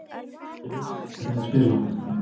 Við vitum alveg hvernig þeir spila.